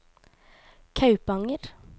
Kaupanger